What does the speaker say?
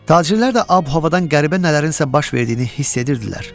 Tacirlər də ab-havadan qəribə nələrin isə baş verdiyini hiss edirdilər.